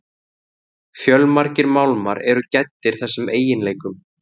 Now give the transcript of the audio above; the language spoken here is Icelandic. Fjölmargir málmar eru gæddir þessum eiginleikum.